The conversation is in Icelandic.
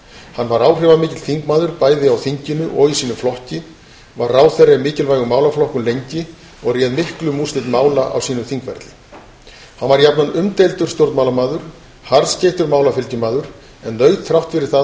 hann var áhrifamikill þingmaður bæði á þinginu og í sínum flokki var ráðherra í mikilvægum málaflokkum lengi og réð miklu um úrslit mála á sínum þingferli hann var jafnan umdeildur stjórnmálamaður harðskeyttur málafylgjumaður en naut þrátt fyrir það